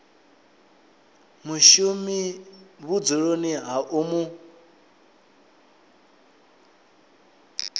mushumi vhudzuloni ha u mu